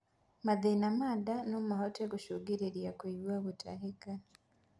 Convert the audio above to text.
Mathin ma ndaa nomahote gũcũngĩrĩrĩa kuigua gutahika